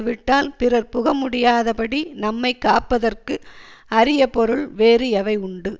விட்டால் பிறர் புக முடியாதபடி நம்மை காப்பதற்கு அரிய பொருள் வேறு எவை உண்டு